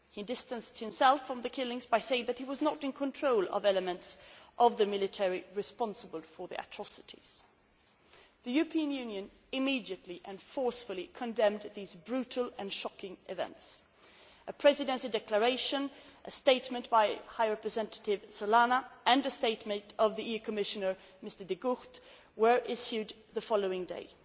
He distanced himself from the killings by saying that he was not in control of the elements of the military responsible for the atrocities. The European Union immediately and forcefully condemned these brutal and shocking events. A Presidency declaration, a statement by High Representative Solana and a statement by EU Commissioner De Gucht were issued the following day.